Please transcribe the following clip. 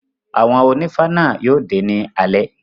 Àwọn onífá náà yóò dé ní alé.